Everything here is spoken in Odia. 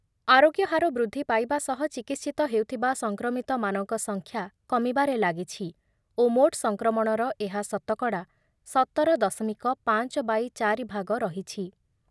ଆରୋଗ୍ୟ ହାର ବୃଦ୍ଧି ପାଇବା ସହ ଚିକିତ୍ସିତ ହେଉଥିବା ସଂକ୍ରମିତମାନଙ୍କ ସଂଖ୍ୟା କମିବାରେ ଲାଗିଛି ଓ ମୋଟ୍ ସଂକ୍ରମଣର ଏହା ଶତକଡ଼ା ସତର ଦଶମିକ ପାଞ୍ଚ ବାଇ ଚାରି ଭାଗ ରହିଛି ।